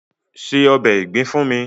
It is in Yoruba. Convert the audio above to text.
Se ọbè ìgbín fún mi!